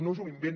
no és un invent